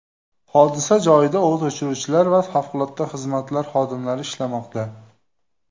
Hodisa joyida o‘t o‘chiruvchilar va favqulodda xizmatlar xodimlari ishlamoqda.